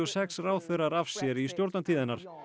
sex ráðherrar af sér í stjórnartíð hennar